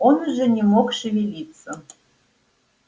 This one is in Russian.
он уже не мог шевелиться